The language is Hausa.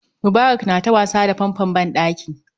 Mubarak na ta wasa da fanfon ban ɗaki